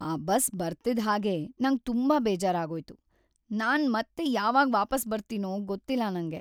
ಆ ಬಸ್ ಬರ್ತಿದ್‌ ಹಾಗೇ ನಂಗ್ ತುಂಬಾ ಬೇಜಾರಾಗೋಯ್ತು. ನಾನ್‌ ಮತ್ತೆ ಯಾವಾಗ್‌ ವಾಪಸ್‌ ಬರ್ತೀನೋ ಗೊತ್ತಿಲ್ಲ ನಂಗೆ.